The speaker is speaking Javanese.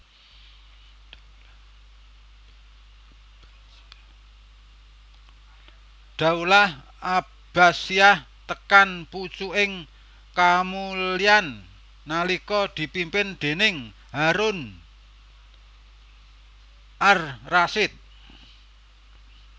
Daulah Abbasiyah tekan pucuking kamulyan nalika dipimpin déning Harun Ar Rasyid